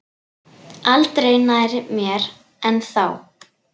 Aldrei nær mér en þá.